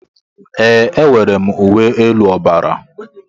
Ee, enwere m uwe elu ọbara.